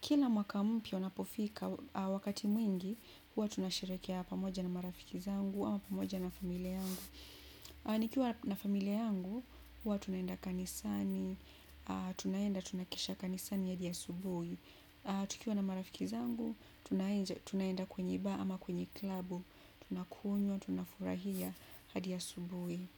Kila mwaka mpya unapofika wakati mwingi, huwa tunashereheke pamoja na marafiki zangu, ama pamoja na familia yangu. Nikiwa na familia yangu huwa tunaenda kanisani tunaenda tunakesha kanisani hadi asubuhi tukiwa na marafiki zangu, tunaenda kwenye baa ama kwenye klabu, tunakunywa, tunafurahia, hadi asubuhi.